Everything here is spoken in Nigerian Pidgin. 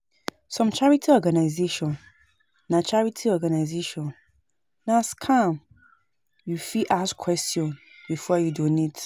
Some charity organization na charity organization na scam, you fit ask questions before you donate